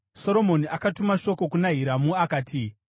Soromoni akatuma shoko kuna Hiramu akati: